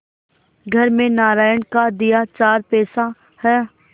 घर में नारायण का दिया चार पैसा है